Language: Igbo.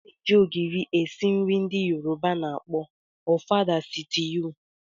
A na-eji ogiri esi nri ndị Yoruba na akpọ ofada sitew.